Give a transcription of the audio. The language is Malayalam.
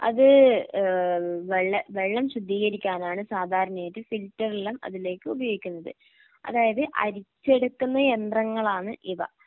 അത് ഏഹ് വെള്ളം വെള്ളം ശുദ്ധീകരിക്കാനാണ് സാധാരണയായിട്ട് ഫിൽറ്ററെല്ലാം അതിലേക്ക് ഉപയോഗിക്കുന്നത്. അതായത് അരിച്ചെടുക്കുന്ന യന്ത്രങ്ങളാണ് ഇവ.